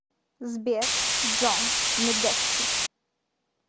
сбер джон медески